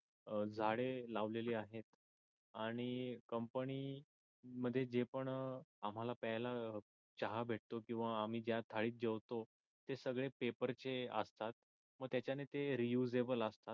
अं झाडे लावलेली आहेत. आणि कंपनी मध्ये जे पण आम्हाला प्यायला चहा भेटतो किंवा आम्ही ज्या थालीत जेवतो ते सगळे पेपर चे असतात. मग त्याच्यानी ते रीयुसेबल असतात.